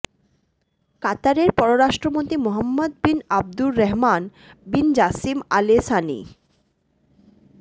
কাতারের পররাষ্ট্রমন্ত্রী Mohammad bin Abdulrahman bin Jassim Al Sunny